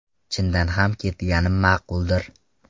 Chindan ham ketganim ma’quldir.